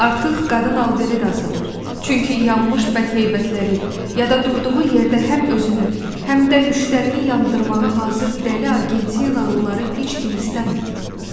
Artıq qadın alveri də azalır, çünki yanmış bədheyətləri, ya da durduğu yerdə həm özünü, həm də müştərini yandırmağa hazır dəli argentinalıları heç kim istəmir.